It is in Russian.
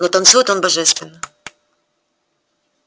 но танцует он божественно